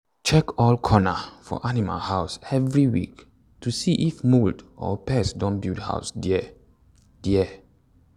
check all corner of animal house every week to see if mould or pest don build house there. there.